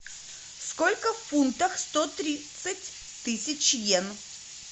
сколько в фунтах сто тридцать тысяч йен